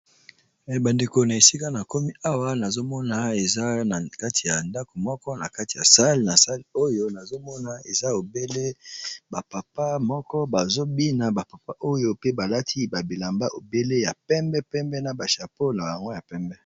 Eh ba ndeko na esika na komi awa nazomona eza na kati ya ndako moko na kati ya sale, na sale oyo nazomona eza obele ba papa moko bazobina ba papa oyo pe balati babilamba obele ya pembe pembe na ba chapeau na yango ya pembe.